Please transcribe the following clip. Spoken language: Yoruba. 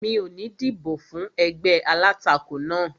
Mi ò ní dìbò fún ẹgbẹ́ alátakò náà